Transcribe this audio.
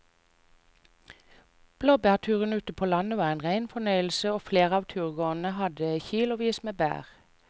Blåbærturen ute på landet var en rein fornøyelse og flere av turgåerene hadde kilosvis med bær.